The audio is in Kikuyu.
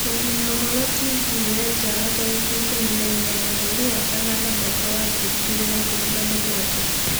mũkinyia ũhoro tv wetano tarĩki ikũmi na inyanya mweri wa kanana mwaka wa ngiri igĩrĩ na ikũmi na mũgwanja